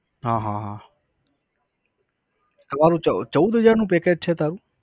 હા હા હા. તમારું ચૌદ, ચૌદ હજાર નું package છે તારું?